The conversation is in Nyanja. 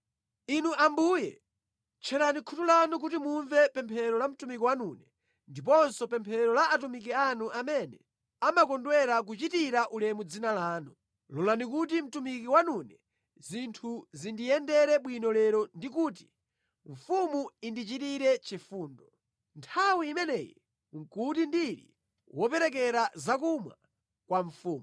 Inu Ambuye tcherani khutu lanu kuti mumve pemphero la mtumiki wanune ndiponso pemphero la atumiki anu amene amakondwera kuchitira ulemu dzina lanu. Lolani kuti mtumiki wanune zinthu zindiyendere bwino lero ndi kuti mfumu indichitire chifundo.” Nthawi imeneyi nʼkuti ndili woperekera zakumwa kwa mfumu.